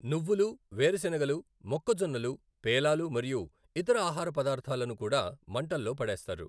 నువ్వులు, వేరుశెనగలు, మొక్కజొన్నలు పేలాలు మరియు ఇతర ఆహార పదార్థాలను కూడా మంటల్లో పడేస్తారు.